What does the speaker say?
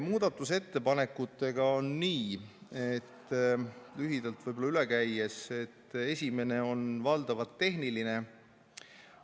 Muudatusettepanekutega on nii, et lühidalt üle käies, esimene on valdavalt tehniline.